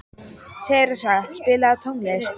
Theresa, spilaðu tónlist.